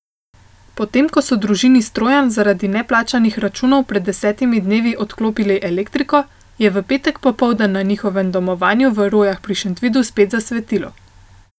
Potem ko so družini Strojan zaradi neplačanih računov pred desetimi dnevi odklopili elektriko, je v petek popoldan na njihovem domovanju v Rojah pri Šentvidu spet zasvetilo.